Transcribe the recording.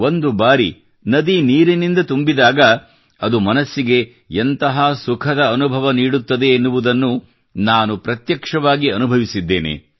ಒಂದು ಬಾರಿ ನದಿ ನೀರಿನಿಂದ ತುಂಬಿದಾಗ ಅದು ಮನಸ್ಸಿಗೆ ಎಂತಹ ಸುಖದ ಅನುಭವ ನೀಡುತ್ತದೆ ಎನ್ನುವುದನ್ನು ನಾನು ಪ್ರತ್ಯಕ್ಷವಾಗಿ ಅನುಭವಿಸಿದ್ದೇನೆ